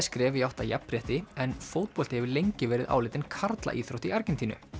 skref í átt að jafnrétti en fótbolti hefur lengi verið álitinn karlaíþrótt í Argentínu